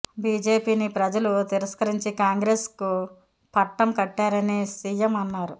బిజెపిని ప్రజలు తిరస్కరించి కాంగ్రెస్కు పట్టం కట్టారని సియం అన్నారు